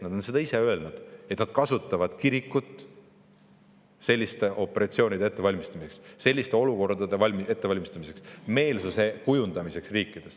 Nad on ise öelnud, et nad kasutavad kirikut selliste operatsioonide ettevalmistamiseks, sellisteks olukordadeks ettevalmistamiseks ja meelsuse kujundamiseks riikides.